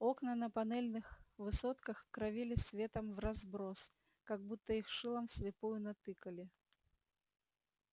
окна на панельных высотках кровили светом вразброс как будто их шилом вслепую натыкали